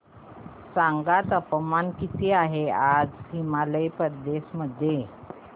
सांगा तापमान किती आहे आज हिमाचल प्रदेश मध्ये